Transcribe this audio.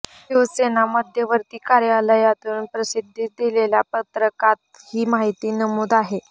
शिवसेना मध्यवर्ती कार्यालयातून प्रसिद्धीस दिलेल्या पत्रकात ही माहिती नमूद आहे